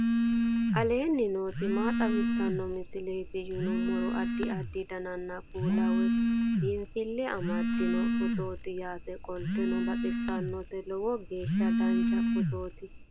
aleenni nooti maa xawisanno misileeti yinummoro addi addi dananna kuula woy biinsille amaddino footooti yaate qoltenno baxissannote lowo geeshsha dancha footooti